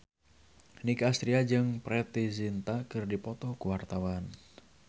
Nicky Astria jeung Preity Zinta keur dipoto ku wartawan